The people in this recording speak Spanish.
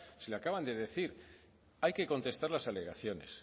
se lo acaban de decir hay que contestar las alegaciones